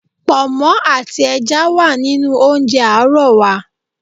Pọ̀nmọ́ àti ẹja wà nínú oúnjẹ àárọ̀ wa.